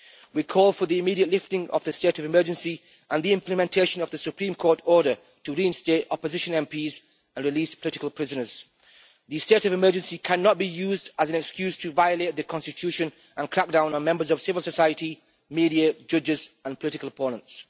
We call for the immediate lifting of the state of emergency and the implementation of the Supreme Court order to reinstate opposition MPs and release political prisoners. The state of emergency cannot be used as an excuse to violate the Constitution and crack down on members of civil society, the media, judges and political opponents.